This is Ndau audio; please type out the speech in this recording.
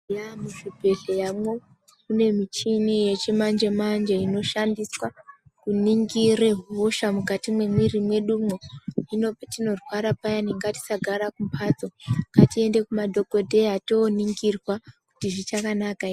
Eya muzvibhedhleramo mune michini yechimanje manje inoshandiswa kuningira hosha mukati memwiri yedu patinorwara payani ngatisagara mumbatso ngatiende kumadhokodheya toningirwa kuti zvichakanaka ere.